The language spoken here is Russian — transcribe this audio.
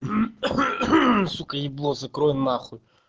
сука ебло закрой нахуй